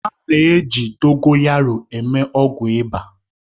A na-eji Dogoyaroo eme ọgwụ ịba